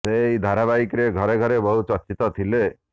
ସେ ଏହି ଧାରାବାହିକରେ ଘରେ ଘରେ ବହୁ ଚର୍ଚ୍ଚିତ ଥିଲେ